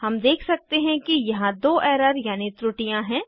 हम देख सकते हैं कि यहाँ दो एरर यानी त्रुटियाँ हैं